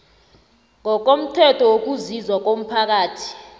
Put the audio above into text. ngokomthetho wokusizwa komphakathi